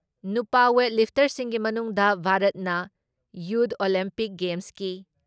ꯅꯨꯄꯥ ꯋꯦꯠ ꯂꯤꯐꯇꯔꯁꯤꯡꯒꯤ ꯃꯅꯨꯡꯗ ꯚꯥꯔꯠꯅ ꯌꯨꯠ ꯑꯣꯂꯤꯝꯄꯤꯛ ꯒꯦꯝꯁꯀꯤ